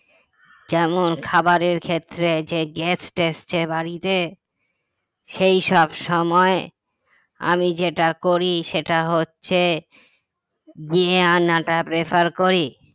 যেমন খাবারের ক্ষেত্রে যে guest আসছে বাড়িতে সেই সব সময় আমি যেটা করি সেটা হচ্ছে গিয়ে আনাটা prefer করি